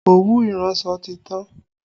Òwú iransọ ti tán